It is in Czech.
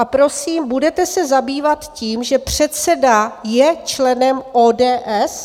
A prosím, budete se zabývat tím, že předseda je členem ODS?